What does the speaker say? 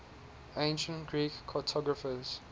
ancient greek cartographers